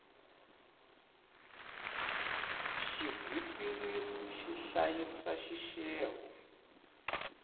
xigwitsirisi xi hlayisa xixevo